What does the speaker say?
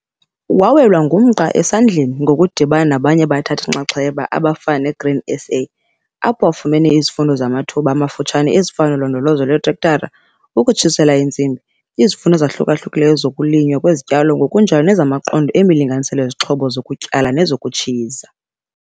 Wawelwa ngumqa esandleni ngokudibana nabanye abathathi-nxaxheba abafana neGrain SA apho afumene izifundo zamathuba amafutshane ezifana noLondolozo lweTrektara, ukuTshisela iintsimbi, izifundo ezahluka-hlukileyo zokuLinywa kweziTyalo ngokunjalo nezamaQondo eMilinganiselo yeziXhobo zokuTyala nezokuTshiza.